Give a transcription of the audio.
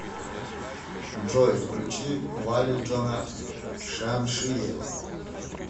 джой включи валиджона шамшиева